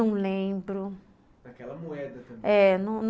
Não lembro...